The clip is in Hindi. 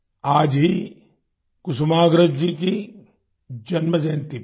आज ही कुसुमाग्रज जी की जन्म जयंती भी है